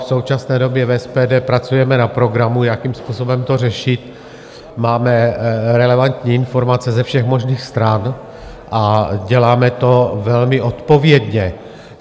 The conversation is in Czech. V současné době v SPD pracujeme na programu, jakým způsobem to řešit, máme relevantní informace ze všech možných stran a děláme to velmi odpovědně.